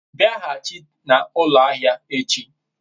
biaghachi na ulo ahia echi